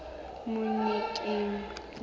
monyakeng